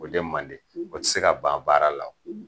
O de mandi, o ti se ka ban baara la o.